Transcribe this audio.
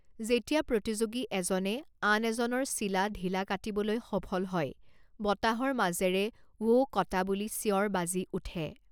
যেতিয়া প্ৰতিযোগী এজনে আন এজনৰ চিলা ঢিলা কাটিবলৈ সফল হয়, বতাহৰ মাজেৰে 'ৱো কটা' বুলি চিঞৰ বাজি উঠে।